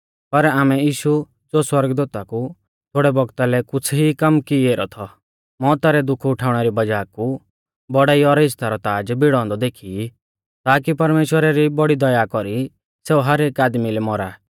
पर आमै यीशु ज़ो सौरगदूता कु थोड़ै बौगता लै कुछ़ ई कम की ऐरौ थौ मौउता रै दुख उठाउणै री वज़ाह कु बौड़ाई और इज़्ज़ता रौ ताज़ भिड़ौ औन्दौ देखी ई ताकि परमेश्‍वरा री बौड़ी दया कौरी सेऊ हर एक आदमी लै मौरा